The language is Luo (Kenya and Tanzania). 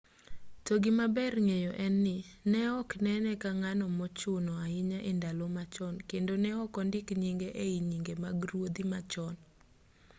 to gima ber ng'eyo en ni ne ok nene ka ng'ano mochuno ahinya e ndalo machon kendo ne ok ondik nyinge ei nyinge mag ruodhi ma chon